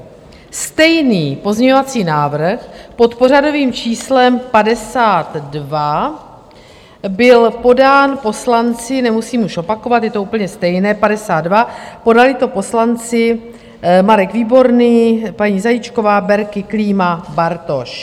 Stejný pozměňovací návrh pod pořadovým číslem 52 byl podán poslanci, nemusím už opakovat, je to úplně stejné, 52, podali to poslanci Marek Výborný, paní Zajíčková, Berki, Klíma, Bartoš.